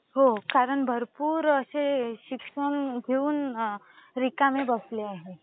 हो कारण भरपूर असे शिक्षण घेऊन रिकामे बसले आहेत.